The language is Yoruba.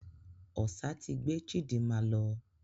Ọsà ti gbé Chidinma lọ.